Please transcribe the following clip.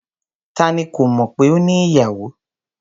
Ta ni kò mọ̀ pé o ní ìyàwò?